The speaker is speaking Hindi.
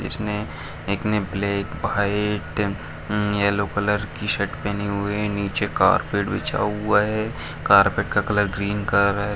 इसमे एक ने black white um yellow colour की शर्ट पहनी हुई हे नीचे कार्पट बीछा हुआ हे कार्पेट का कलर ग्रीन कलर का है।